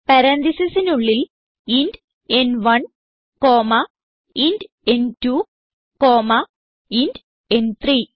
പരാൻതീസിസിനുള്ളിൽ ഇന്റ് ന്1 comma int ന്2 കോമ്മ ഇന്റ് ന്3